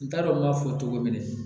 N t'a dɔn n b'a fɔ cogo min na